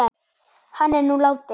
Hann er nú látinn.